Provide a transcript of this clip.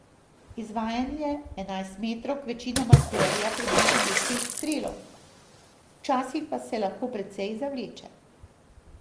Izvajanje enajstmetrovk večinoma terja približno deset strelov, včasih pa se lahko precej zavleče.